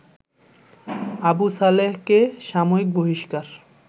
আবুসালেহকে সাময়িক বহিষ্কার